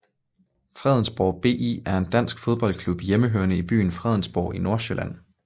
Fredensborg BI er en dansk fodboldklub hjemmehørende i byen Fredensborg i Nordsjælland